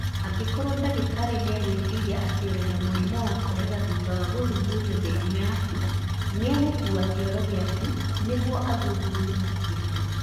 Angĩkorũo ndagĩtarĩ nĩ egwĩciria atĩ ũrĩ na mũrimũ wa korera thutha wa gũthuthuria mĩrimũ yaku, nĩ egũkuua kĩoro gĩaku nĩguo athuthuria makĩria.